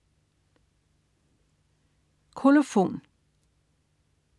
Kolofon